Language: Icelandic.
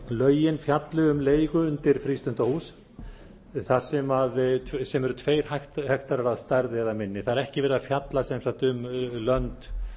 lögin fjalli um leigu undir frístundahús sem eru tveir hektarar að stærð eða minni það er ekki verið að fjalla sem sagt um lönd